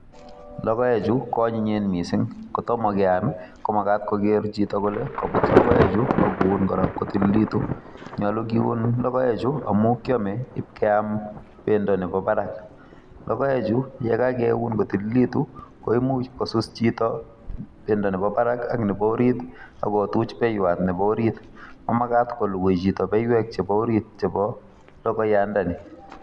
Logoekchu, ko anyinyen missing, Kotomo keam, ko magat koger chito kole kabut logoekchu, akoun korok kotililitu. Nyolu kiun logoekchu, amu kiame ipkeam pendo nebo barak. Logoekchu ye kakeun kotililitu, koimuch kosus chito pendo nebo barak ak nebo orit, akotuch beiwot nebo orit. Mamagat kolugui chito beiwek chebo orit chebo logoyandani